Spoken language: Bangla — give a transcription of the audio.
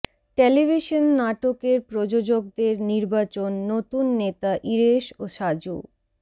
টেলিভিশন নাটকের প্রযোজকদের নির্বাচন নতুন নেতা ইরেশ ও সাজু